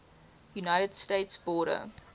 united states border